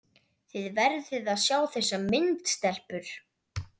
Þið verðið að sjá þessa mynd, stelpur!